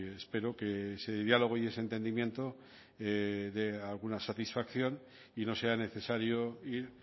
espero que ese diálogo y ese entendimiento dé alguna satisfacción y no sea necesario ir